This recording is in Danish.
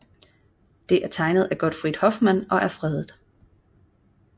Det er tegnet af Gottfried Hoffmann og er fredet